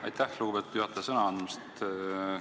Aitäh, lugupeetud juhataja, sõna andmast!